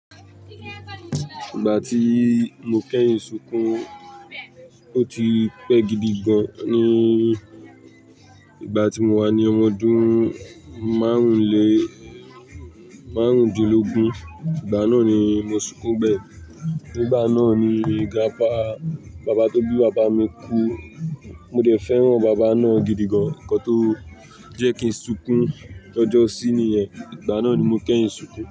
Ìgbà tí mo kẹ́yìn sunkún, ó ti pẹ́ gidi gan. Ní ìgbà tí mo wà ní ọmọdún márùn-ún lé márùn-ún dínlógún, ìgbà náà ni mo sunkún bẹ́ẹ̀. Nígbà náà ni grandpa bàbá tó bí bàbá mi kú. Mo dẹ̀ fẹ́ràn bàbá náà gidi gan, nǹkan tó jẹ́ kí n sunkún lọ́jọ sí ni yẹn. Ìgbà náà ni mo kẹ́yìn sunkún.